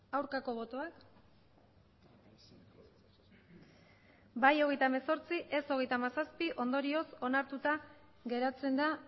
aurkako botoak bai hogeita hemezortzi ez hogeita hamazazpi ondorioz onartuta geratzen da